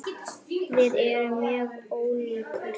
Við erum mjög ólíkar.